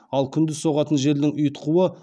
ал күндіз соғатын желдің ұйытқуы